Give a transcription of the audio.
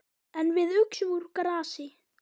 En við uxum úr grasi.